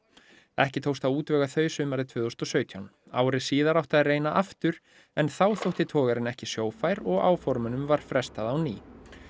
ekki tókst að útvega þau sumarið tvö þúsund og sautján ári síðar átti að reyna aftur en þá þótti togarinn ekki og áformunum var frestað á ný